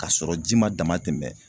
Ka sɔrɔ ji ma dama tɛmɛ.